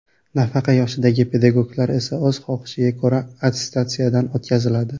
Nafaqa yoshidagi pedagoglar esa o‘z xohishiga ko‘ra attestatsiyadan o‘tkaziladi.